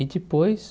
E depois,